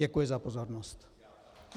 Děkuji za pozornost.